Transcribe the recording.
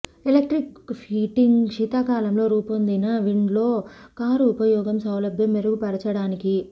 electric heating శీతాకాలంలో రూపొందించిన wind లో కారు ఉపయోగం సౌలభ్యం మెరుగుపరచడానికి